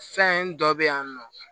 Fɛn dɔ be yan nɔ